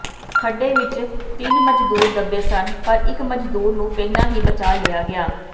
ਖੱਡੇ ਵਿੱਚ ਤਿੰਨ ਮਜ਼ਦੂਰ ਦੱਬੇ ਸਨ ਪਰ ਇੱਕ ਮਜ਼ਦੂਰ ਨੂੰ ਪਹਿਲਾਂ ਹੀ ਬਚਾਅ ਲਿਆ ਗਿਆ